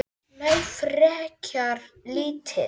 Nei, frekar lítið.